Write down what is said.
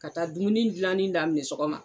Ka taa dumuni gilanni daminɛ sɔgɔma